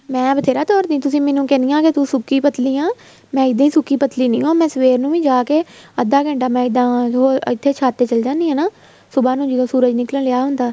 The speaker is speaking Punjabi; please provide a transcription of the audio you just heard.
ਮੈਂ ਬਥੇਰਾ ਤੁਰਦੀ ਤੁਸੀਂ ਮੈਨੂੰ ਕਹਿਣੀਆਂ ਤੂੰ ਸੁੱਕੀ ਪਤਲੀ ਆ ਮੈਂ ਇੱਦਾਂ ਨਹੀਂ ਸੁੱਕੀ ਪਤਲੀ ਨਹੀਂ ਹੋ ਆ ਮੈਂ ਸਵੇਰ ਨੂੰ ਵੀ ਜਾਕੇ ਅੱਧਾ ਘੰਟਾ ਮੈਂ ਜਾ ਕੇ ਇੱਥੇ ਛੱਤ ਤੇ ਚੱਲੀ ਜਾਣੀ ਆ ਨਾ ਸੁਭਾਹ ਨੂੰ ਜਦੋਂ ਸੂਰਜ ਨਿੱਕਲ ਰਿਹਾ ਹੁੰਦਾ